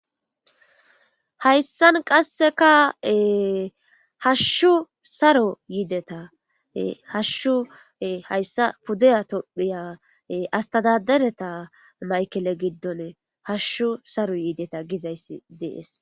hayssan qasseka hashshu saro yiideta hashshu hayssa puddeya tophiya astadadereta maykele giddone hashshu saro yiideta gizayssi dees